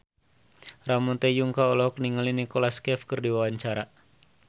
Ramon T. Yungka olohok ningali Nicholas Cafe keur diwawancara